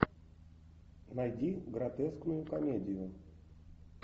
найди гротескную комедию